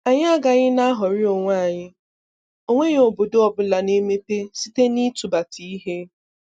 Anyị agaghị n'aghọrị onwe anyị, onweghi obodo ọbụla n'emepe site n'ịtụbata ihe.